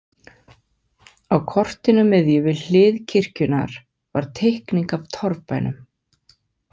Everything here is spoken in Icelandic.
Á kortinu miðju, við hlið kirkjunnar, var teikning af torfbænum.